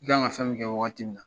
I kan ka fɛn min kɛ wagati min na.